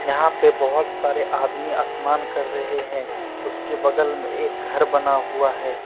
यहां पे बहुत सारे आदमी स्नान कर रहे हैं उसके बगल में एक घर बना हुआ है।